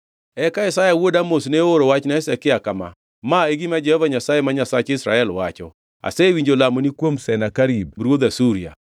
Eka Isaya wuod Amoz ne ooro wach ne Hezekia kama: “Ma e gima Jehova Nyasaye, ma Nyasach Israel wacho: Asewinjo lamoni kuom Senakerib ruodh Asuria.